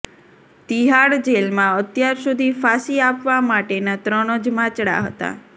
તિહાડ જેલમાં અત્યાર સુધી ફાંસી આપવા માટેના ત્રણ જ માચડા હતા